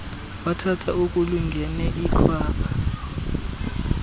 wathatha okulingene ikhwapha